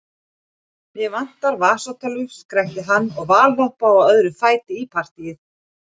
Mig vantar vasatölvu, skrækti hann og valhoppaði á öðrum fæti í partýið.